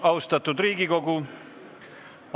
Tere päevast, austatud Riigikogu!